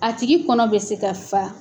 A tigi kɔnɔ bɛ se ka fa.